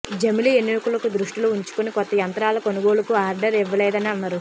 జమిలీ ఎన్నికలను దృష్టిలో ఉంచుకుని కొత్త యంత్రాల కొనుగోలుకు ఆర్డర్ ఇవ్వలేదని అన్నారు